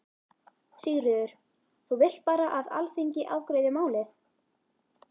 Sigríður: Þú vilt bara að Alþingi afgreiði málið?